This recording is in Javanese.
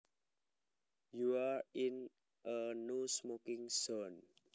You are in a no smoking zone